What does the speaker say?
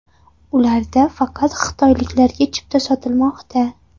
Ularda faqat xitoyliklarga chipta sotilmoqda.